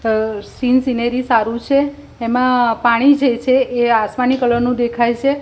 સ scene scenery સારુ છે એમાં પાણી જે છે એ આસમાની કલર નુ દેખાય છે.